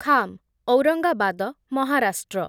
Kham, Aurangabad, Maharashtra